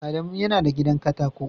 Adamu yana da gidan katako